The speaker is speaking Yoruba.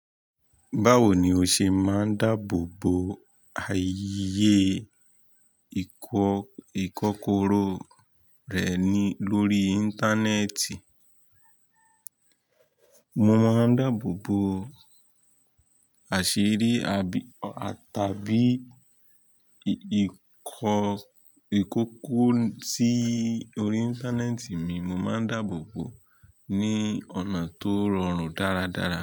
Báwo ni o ṣe máa ń dáàbò bo àyè ìkọ́kọrọ́ rẹ ní lórí Íńtánẹ́ẹ̀tì? Mo máa ń dáàbò bo àṣírí àbí tàbí ìkọ́kọrọ́ si orí Íńtánẹ́ẹ̀tì mi, mo máa ń dáàbò bo ní ọ̀nà tó rọrùn dáradára.